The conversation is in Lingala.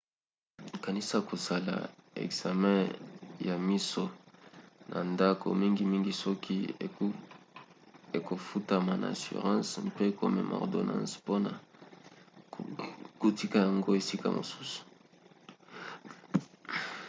kanisa kosala ekzame ya miso na ndako mingimingi soki ekofutama na assurance mpe komema ordonance mpona kotika yango esika mosusu